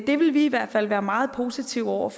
det vil vi i hvert fald være meget positive over